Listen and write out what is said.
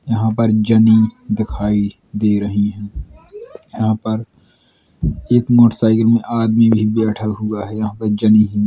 यहाँ पर जनी दिखाई दे रहीं हैं | यहाँ पर एक मोटसाइकिल में आदमी भी ब्यैठा हुआ है | यहाँ पर जनि --